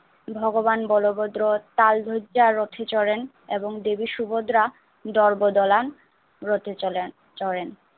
ভগবান বলভদ্র তাল যাত্রার রথে চড়েন এবং দেবী সুভদ্রা দর্ব দোলান রথে চলেন চড়েন।